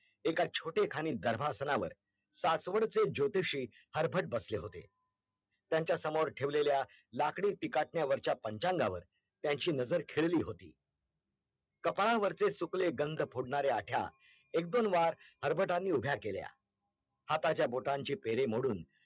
कापाळावरचे सुखले गंध फोडणारे आठ्या, एक दोन वार हर्बात्यानी उभ्या केल्या हाताच्या बोटानची पेरे मोडून